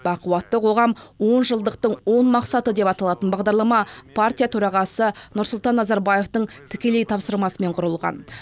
бақуатты қоғам он жылдықтың он мақсаты деп аталатын бағдарлама партия төрағасы нұрсұлтан назарбаевтың тікелей тапсырмасымен құрылған